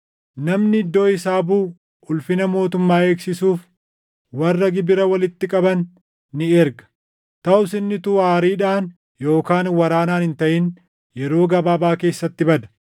“Namni iddoo isaa buʼu ulfina mootummaa eegsisuuf warra gibira walitti qaban ni erga. Taʼus inni utuu aariidhaan yookaan waraanaan hin taʼin yeroo gabaabaa keessatti bada.